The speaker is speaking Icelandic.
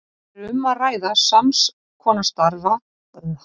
Þar er um að ræða sams konar stafi og stafina í stafalogni.